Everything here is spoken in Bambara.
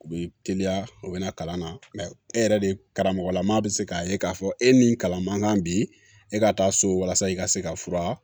U bɛ teliya u bɛ na kalan na mɛ e yɛrɛ de karamɔgɔlamaa bɛ se k'a ye k'a fɔ e ni kalan man kan bi e ka taa so walasa i ka se ka fura